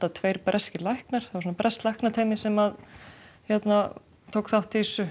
tveir breskir læknar breskt læknateymi sem tók þátt í þessu